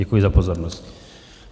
Děkuji za pozornost.